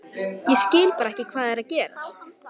Ég skil bara ekki hvað er að gerast.